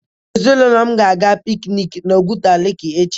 Ezinaụlọ m ga-aga piknik na Oguta leeki echi.